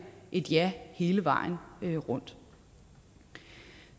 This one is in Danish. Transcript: et ja hele vejen rundt